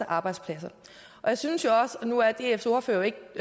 arbejdspladser jeg synes jo også og nu er dfs ordfører jo ikke